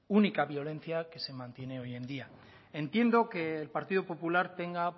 única violencia que se mantiene hoy en día entiendo que el partido popular tenga